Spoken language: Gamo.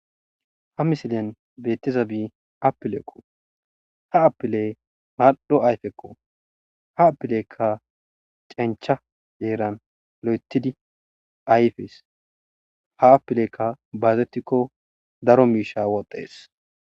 ha misilen beetiza bii appilekko ha apiley maldho ayfekko ha appilekka cencha yeeran lo7etidi ayfes ha appilekka baazettikko daro miisha woxxees